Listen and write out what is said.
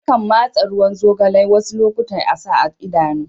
Akan masa ruwan zogalai wasu lokatai a'sa a Idanu.